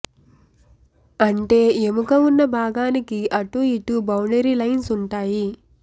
అంటే ఎముక ఉన్న భాగానికి అటూ ఇటూ బౌండరీ లైన్స్ ఉంటాయి